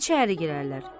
İçəri girərlər.